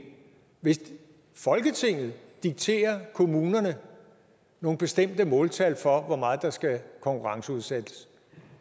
hvis folketinget dikterer kommunerne nogle bestemte måltal for hvor meget der skal konkurrenceudsættes